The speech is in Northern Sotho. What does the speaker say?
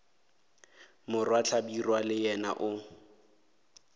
morwa hlabirwa le yena o